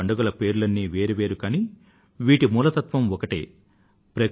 ఈ పండుగల పేర్లన్నీ వేరు వేరు కానీ వీటి మూల తత్త్వం ఒకటే